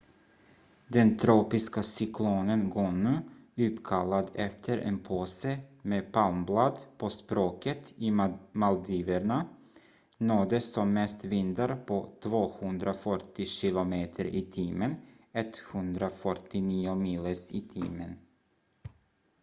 den tropiska cyklonen gonu uppkallad efter en påse med palmblad på språket i maldiverna nådde som mest vindar på 240 kilometer i timmen 149 miles i timmen